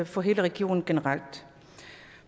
for hele regionen generelt